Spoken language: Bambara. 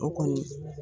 O kɔni